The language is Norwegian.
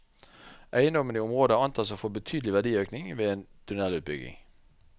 Eiendommene i området antas å få betydelig verdiøkning ved en tunnelutbygging.